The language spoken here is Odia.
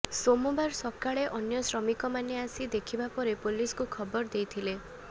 ସୋମବାର ସକାଳେ ଅନ୍ୟ ଶ୍ରମିକମାନେ ଆସି ଦେଖିବା ପରେ ପୁଲିସକୁ ଖବର ଦେଇଥିଲେ